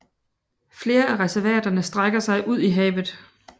Flere af reservaterne strækker sig ud i havet